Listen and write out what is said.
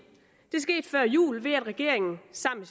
det skete før jul ved at regeringen sammen